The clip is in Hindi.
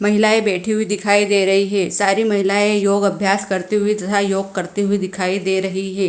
महिलाएं बैठी हुई दिखाई दे रही है सारी महिलाएं योग अभ्यास करते हुए तथा योग करते हुए दिखाई दे रही है।